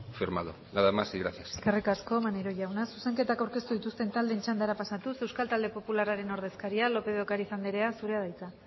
firmado nada más y gracias eskerrik asko maneiro jauna zuzenketak aurkeztu dituzten taldeen txandara pasatuz euskal talde popularraren ordezkaria lopez de ocariz andrea zurea da hitza